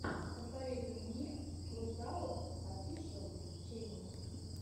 посоветуй мне кросаут офишэл ченел